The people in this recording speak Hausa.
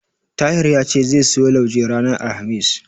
Tahir ya ce zai siyo lauje ranar Alhamis.